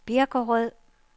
Birkerød